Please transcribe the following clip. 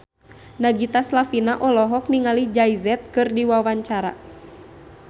Nagita Slavina olohok ningali Jay Z keur diwawancara